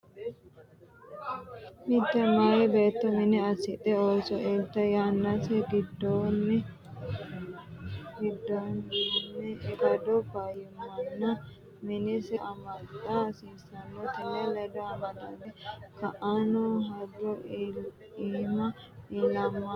Mitte meyaa beetto mine assidhe ooso iltanno yannase giddoonni ikkado fayyimmanni minese amaxxa hasiissannose. Tenne ledo amadante ka’anno hajo iima iimaho ilatenni amuwa ikkitinoonnirira heeshsho’ne aana iillitanno gawajjo maati?